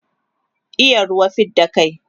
iya ruwa fidda kai